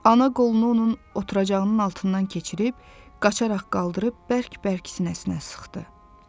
Ana qolunu onun oturacağının altından keçirib, qaçaraq qaldırıb bərk-bərk sinəsinə sıxdı.